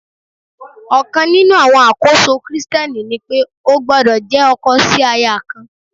Ọ̀kan nínú àwọn àkóso Kristẹni ni pé ó gbọ́dọ̀ jẹ́ ọkọ sí aya kan.